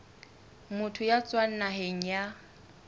motho ya tswang naheng ya